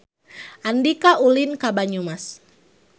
Andika ulin ka Banyumas